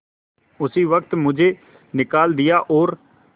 उसी वक्त मुझे निकाल दिया और